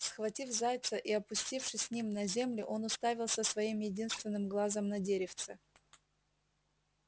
схватив зайца и опустившись с ним на землю он уставился своим единственным глазом на деревце